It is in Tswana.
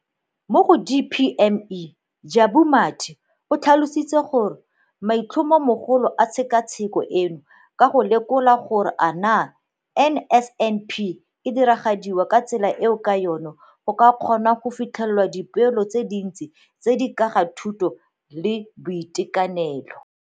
Mo go DPME, Jabu Mathe, o tlhalositse gore maitlhomomagolo a tshekatsheko eno ke go lekola gore a naa NSNP e diragadiwa ka tsela eo ka yona e ka kgonang go fitlhelela dipoelo tse dintsi tse di ka ga thuto le boitekanelo.